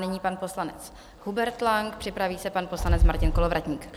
Nyní pan poslanec Hubert Lang, připraví se pan poslanec Martin Kolovratník.